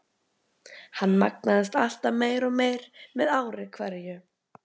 Hann magnaðist alltaf meir og meir með ári hverju.